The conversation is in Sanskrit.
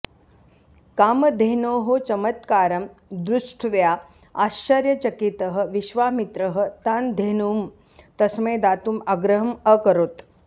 कामधेनोः चमत्कारं दृष्ट्व्या आश्चर्यचकितः विश्वामित्रः तां धेनुं तस्मै दातुम् आग्रहम् अकरोत्